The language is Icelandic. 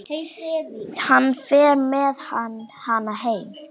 Hann fer með hana heim.